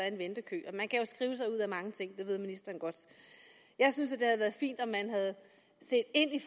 en ventekø man kan jo skrive sig ud af mange ting det ved ministeren godt jeg synes det havde været fint om man havde set ind i